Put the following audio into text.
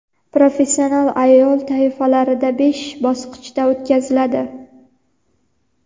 professional ayol toifalarida besh bosqichda o‘tkaziladi.